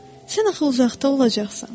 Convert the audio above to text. Sən axı uzaqda olacaqsan.